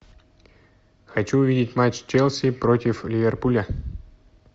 хочу увидеть матч челси против ливерпуля